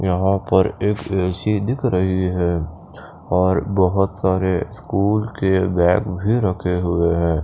यहाँ पर एक ए_सी दिख रही है और बोहोत सारे स्कूल के बैग भी रखे हुए है।